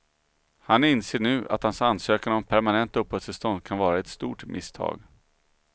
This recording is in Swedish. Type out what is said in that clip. Han inser nu att hans ansökan om permanent uppehållstillstånd kan vara ett stort misstag.